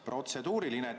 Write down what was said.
Protseduuriline.